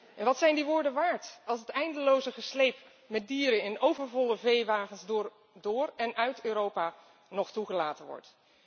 En wat zijn die woorden waard als het eindeloze gesleep met dieren in overvolle veewagens door en uit Europa nog toegelaten wordt?